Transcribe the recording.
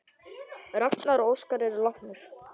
Ragnar og Óskar eru látnir.